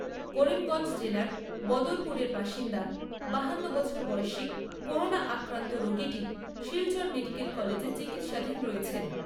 করিমগঞ্জ জেলার বদরপুরের বাসিন্দা বাহান্ন বছর বয়সী করোনা আক্রান্ত রোগীটি শিলচর মেডিকেল কলেজে চিকিৎসাধীন রয়েছেন।